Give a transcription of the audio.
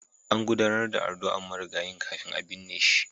An gudanar da addu'ar marigayin kafin a binne shi.